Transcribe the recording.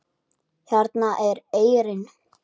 Hérna er eyrin.